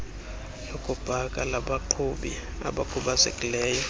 lokupaka labaqhubi abakhubazekileyo